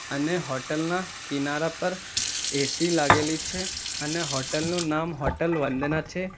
અને હોટલ ના કિનારા પર એ_સી લાગેલી છે અને હોટલ નું નામ હોટલ વંદના છે.